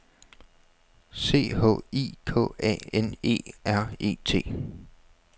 C H I K A N E R E T